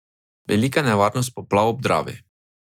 Velika nevarnost poplav ob Dravi.